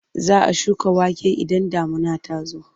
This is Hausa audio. Za a shuka wake idan damuna ta zo.